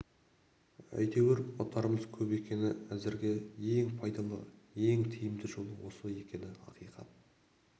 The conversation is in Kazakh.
әйтеуір ұтарымыз көп екені әзірге ең пайдалы ең тиімді жолы осы екені ақиқат